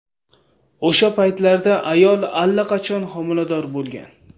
O‘sha paytlarda ayol allaqachon homilador bo‘lgan.